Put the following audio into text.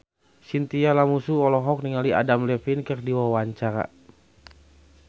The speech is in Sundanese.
Chintya Lamusu olohok ningali Adam Levine keur diwawancara